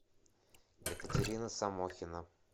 екатерина самохина